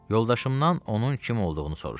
Yoldaşımdan onun kim olduğunu soruşdum.